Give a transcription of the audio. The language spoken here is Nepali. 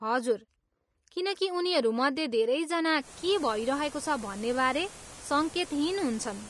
हजुर, किनकि उनीहरूमध्ये धेरैजना के भइरहेको छ भन्नेबारे सङ्केतहीन हन्छन्।